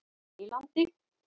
Eylandi